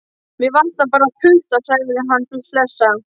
Mig vantar bara putta, sagði hann hlessa.